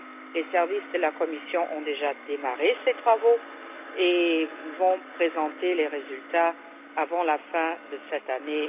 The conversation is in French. Les services de la Commission ont déjà démarré ces travaux et vont présenter les résultats avant la fin de cette année